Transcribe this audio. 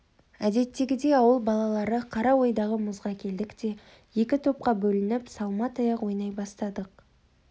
әдеттегідей ауыл балалары қараойдағы мұзға келдік те екі топқа бөлініп салма таяқ ойнай бастадық